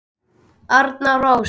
Arna Rós.